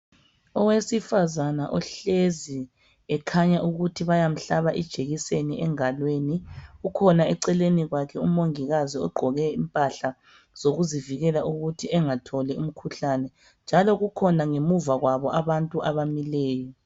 Owesifazane uhlezi ekhanya ukuthi bayamhlaba ijekiseni engalweni kukhona eceleni kwakhe umongikazi ogqoke impahla zokuzivikela ukuthi engatholi umkhuhlane. Njalo kukhona ngamuva kwabo abantu abamileyo.